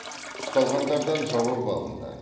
ұсталғандардан жауап алынды